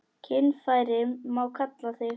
Kynfæri má kalla þing.